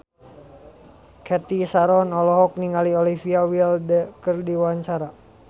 Cathy Sharon olohok ningali Olivia Wilde keur diwawancara